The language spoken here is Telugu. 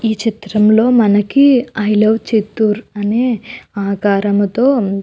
ఈ చిత్రం లో మనకి ఐ లవ్ చిత్తూర్ అనే ఆకరముతో --